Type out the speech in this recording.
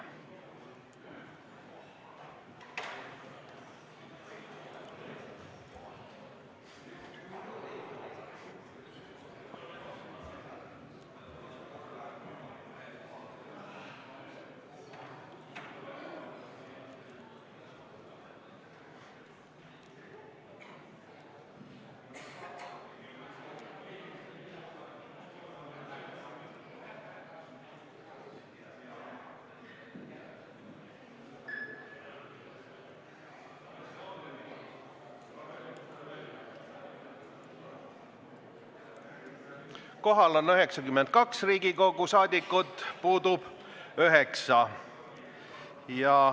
Kohaloleku kontroll Kohal on 92 Riigikogu liiget, puudub 9.